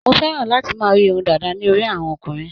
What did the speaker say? Mo fẹ́ràn láti máa rí irun dàda ní orí àwọn ọkùnrin.